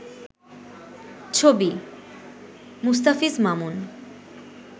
ছবি: মুস্তাফিজ মামুন